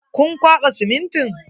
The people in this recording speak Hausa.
Kun kwaɓa simintin?